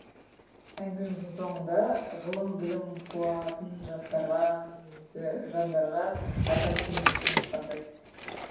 әңгімеміздің соңында ғылым білім қуатын жастарға немесе жандарға айтар кеңесіңіз қандай